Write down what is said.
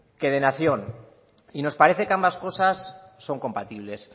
que de nación y nos parece que ambas cosas son compatibles